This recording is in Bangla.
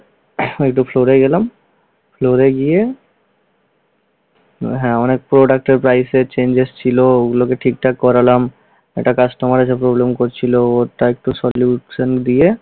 একটু floor এ গেলাম। floor এ গিয়ে ও হ্যাঁ, অনেক product ও price এ changes ছিল, ওগুলিকে ঠিকঠাক করালাম। একটা customer এসে problem করছিল ওরটা একটু solution দিয়ে